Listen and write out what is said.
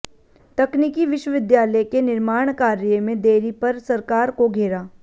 तकनीकी विश्वविद्यालय के निर्माण कार्य में देरी पर सरकार को घेरा